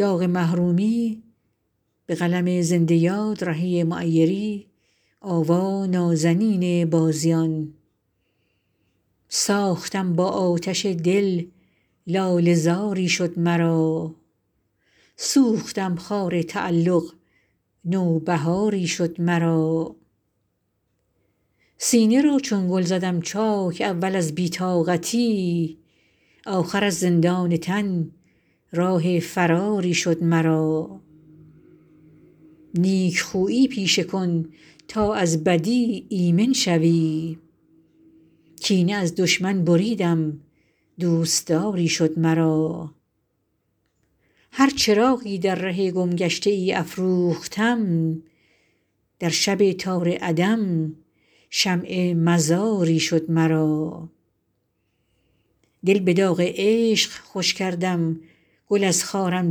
ساختم با آتش دل لاله زاری شد مرا سوختم خار تعلق نوبهاری شد مرا سینه را چون گل زدم چاک اول از بی طاقتی آخر از زندان تن راه فراری شد مرا نیکخویی پیشه کن تا از بدی ایمن شوی کینه از دشمن بریدم دوستداری شد مرا هر چراغی در ره گمگشته ای افروختم در شب تار عدم شمع مزاری شد مرا دل به داغ عشق خوش کردم گل از خارم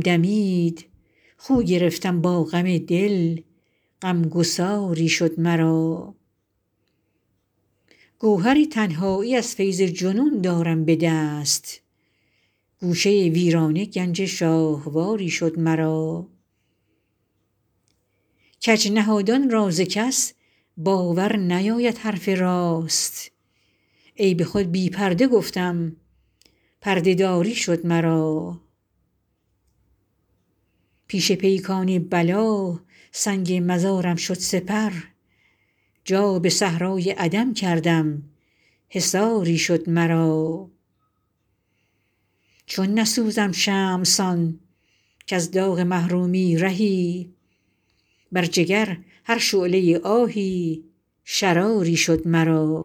دمید خو گرفتم با غم دل غمگساری شد مرا گوهر تنهایی از فیض جنون دارم به دست گوشه ویرانه گنج شاهواری شد مرا کج نهادان را ز کس باور نیاید حرف راست عیب خود بی پرده گفتم پرده داری شد مرا پیش پیکان بلا سنگ مزارم شد سپهر جا به صحرای عدم کردم حصاری شد مرا چون نسوزم شمع سان کز داغ محرومی رهی بر جگر هر شعله آهی شراری شد مرا